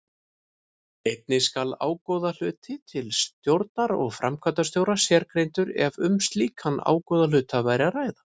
Einnig skal ágóðahluti til stjórnar og framkvæmdastjóra sérgreindur ef um slíkan ágóðahluta var að ræða.